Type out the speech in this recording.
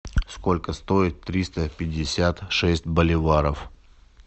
сколько стоит триста пятьдесят шесть боливаров